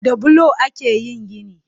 Da bulo ake yin gini